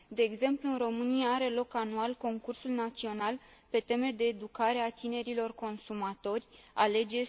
De exemplu, în România are loc anual concursul național pe teme de educare a tinerilor consumatori Alege!